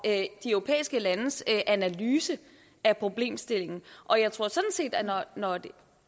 de europæiske landes analyse af problemstillingen og jeg tror sådan set at når